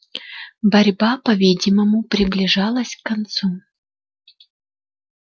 борьба по видимому приближалась к концу